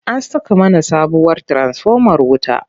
An saka mana sabuwar tiransifomar wuta.